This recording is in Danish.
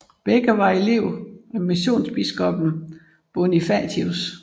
Begge var elever af missionsbiskoppen Bonifatius